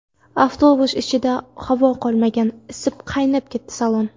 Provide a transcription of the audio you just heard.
Avtobus ichida havo qolmagan, isib, qaynab ketdi salon.